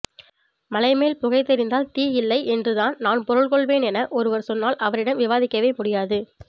மலைமேல் புகை தெரிந்தால் தீ இல்லை என்றுதான் நான் பொருள்கொள்வேன் என ஒருவர் சொன்னால் அவரிடம் விவாதிக்கவே முடியாது